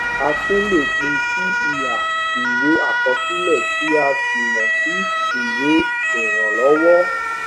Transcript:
a tún lè pín sí iha ìwé àkọsílẹ tí a sì mọ sí ìwé ìrànlọwọ